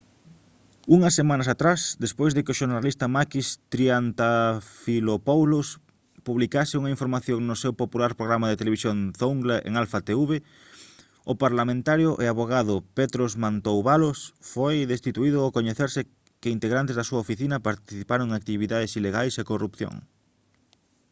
unhas semanas atrás despois de que o xornalista makis triantafylopoulos publicase unha información no seu popular programa de televisión zoungla en alpha tv o parlamentario e avogado petros mantouvalos foi destituído ao coñecerse que integrantes da súa oficina participaron en actividades ilegais e corrupción